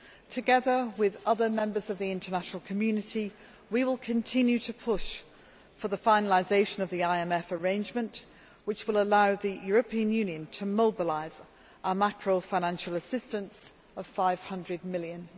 Together with other members of the international community we will continue to push for the finalisation of the IMF arrangement which will allow the European Union to mobilise our macro financial assistance of EUR 500 million.